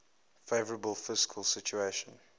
favourable fiscal situation